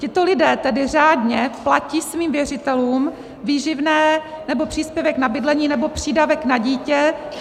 Tito lidé tedy řádně platí svým věřitelům výživné nebo příspěvek na bydlení nebo přídavek na dítě.